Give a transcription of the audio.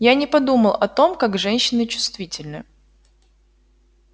я не подумал о том как женщины чувствительны